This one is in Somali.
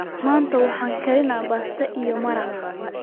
manta waxan karini basto iyo maraq